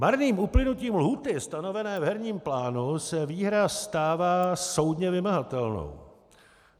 Marným uplynutím lhůty stanovené v herním plánu se výhra stává soudně vymahatelnou.